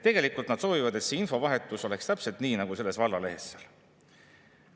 Tegelikult nad soovivad, et see infovahetus oleks täpselt selline nagu selles vallalehes seal.